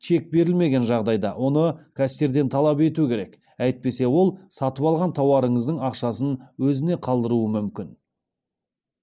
чек берілмеген жағдайда оны кассирден талап ету керек әйтпесе ол сатып алған тауарыңыздың ақшасын өзіне қалдыруы мүмкін